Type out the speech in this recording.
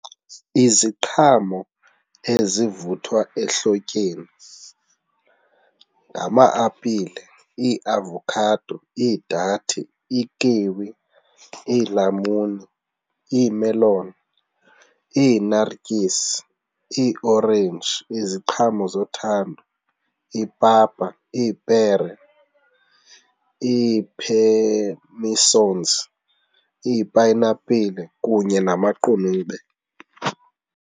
Iziqhamo ezivuthwa ehlotyeni ngama-apile, iavokhado, idathe, ikiwi, iilamuni, iimeloni, iinartyisi, iiorenji, iziqhamo zothando, ipapa, ipere, ii-pear misons, ipayinapile kunye namaqunube.